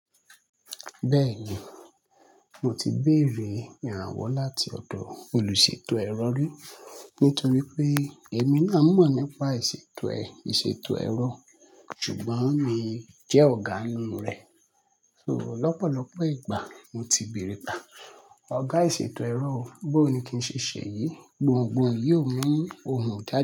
Bẹ́ẹ̀ni, mo ti bèèrè ìrànwọ́ láti ọ̀dọ̀ olùṣètò ẹ̀rọ rí, nítorí pé èmi náà mọ̀ nípa ìṣètò ẹ̀, ìṣètò ẹ̀rọ, ṣùgbọ́n mi jẹ́ ọ̀gá inú rẹ̀. So lọ́pọ̀lọ́pọ̀ ìgbà mo ti béèrè pe á, "Ọ̀gá ìṣètò ẹ̀rọ o, bó ni kí n ṣe ṣe yìí?" Gbohùngbohùn yóò mú ohun jáde.